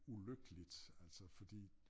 Ulykkeligt altså fordi